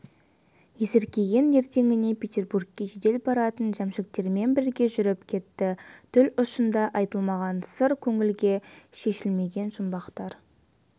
есіркеген ертеңіне петебургке жедел баратын жәмшіктермен бірге жүріп кетті тіл ұшында айтылмаған сыр көңілде шешілмеген жұмбақтар